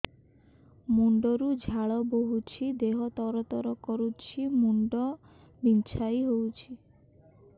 ମୁଣ୍ଡ ରୁ ଝାଳ ବହୁଛି ଦେହ ତର ତର କରୁଛି ମୁଣ୍ଡ ବିଞ୍ଛାଇ ହଉଛି